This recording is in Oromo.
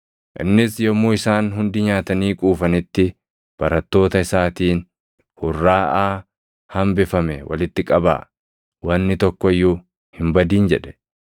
Innis yommuu isaan hundi nyaatanii quufanitti barattoota isaatiin, “Hurraaʼaa hambifame walitti qabaa. Wanni tokko iyyuu hin badin” jedhe.